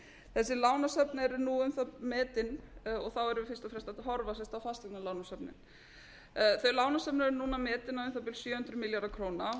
þessi lánasöfn eru nú metin og þá erum við fyrst og fremst að horfa sem sagt á fasteignalánasöfnin þau lánasöfn eru núna metin á um það bil sjö hundruð milljarða króna og